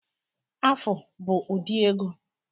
Afu bụ ụdị ego